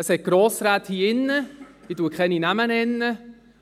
Es gibt Grossräte hier drin, ich werde keine Namen nennen,